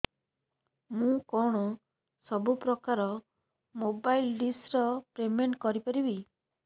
ମୁ କଣ ସବୁ ପ୍ରକାର ର ମୋବାଇଲ୍ ଡିସ୍ ର ପେମେଣ୍ଟ କରି ପାରିବି